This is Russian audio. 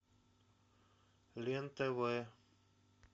лен тв